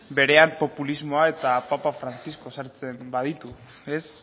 berean populismoa eta papa francisco sartzen baditu ez